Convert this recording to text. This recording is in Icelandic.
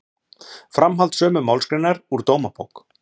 Framhald sömu málsgreinar úr Dómabók